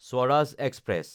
Swaraj express